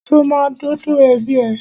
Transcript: Ṣo ma dọ́dọ̀ ẹbí ẹ?